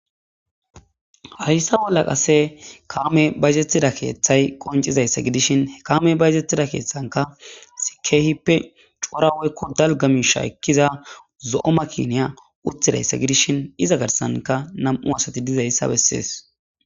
Hayissa bolla qassi kameyi bayizetida ketha qoncidayisa gidishini kameyi bayizetida kethanika kihipe coora woyiko daligga misha ekiza zo'o makiniya utidayisa gidishini iza garisanika namu'u assati dizayissa besesi.